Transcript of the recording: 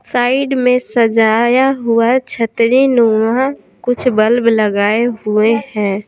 Side में सजाया हुआ छतरी नुमा कुछ बल्ब लगाए हुए हैं।